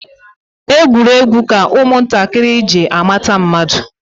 Egwuregwu ka nwatakịrị ji amata mmadụ.